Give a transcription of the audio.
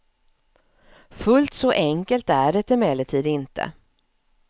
Fullt så enkelt är det emellertid inte.